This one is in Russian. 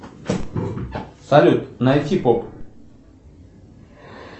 салют найти поп